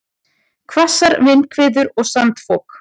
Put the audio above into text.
Hvassar vindhviður og sandfok